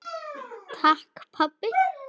Takk pabbi.